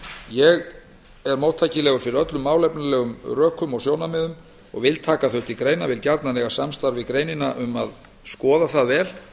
ég er móttækilegur fyrir öllum málefnalegum rökum og sjónarmiðum og vil taka þau til greina vil gjarna eiga samstarf við greinina um að skoða allt vel